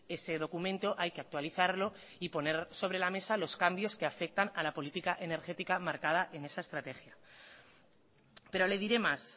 ese documento hay que actualizarlo y poner sobre la mesa los cambios que afectan a la política energética marcada en esa estrategia pero le diré más